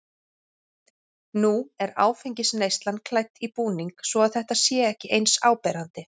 Nú er áfengisneyslan klædd í búning svo að þetta sé ekki eins áberandi.